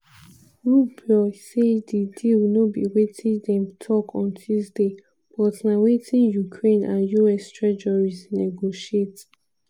rubio say di deal no be wetin dem tok on tuesday but na wetin ukraine and us treasuries negotiate.